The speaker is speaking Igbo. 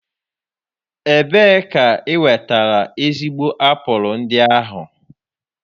Ebee ka ị nwetara ezigbo apụl ndị ahụ?